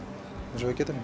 eins og við getum